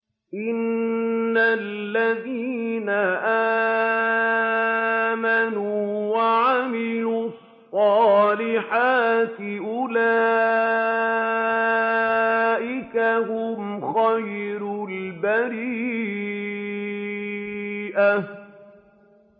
إِنَّ الَّذِينَ آمَنُوا وَعَمِلُوا الصَّالِحَاتِ أُولَٰئِكَ هُمْ خَيْرُ الْبَرِيَّةِ